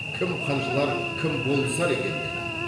кім қынжылар кім болысар екен деді